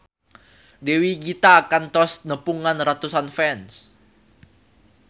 Dewi Gita kantos nepungan ratusan fans